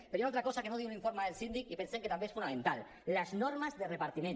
però hi ha una altra cosa que no diu l’informe del síndic i pensem que també és fonamental les normes de repartiment